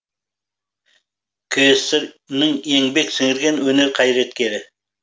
кср інің еңбек сіңірген өнер қайраткері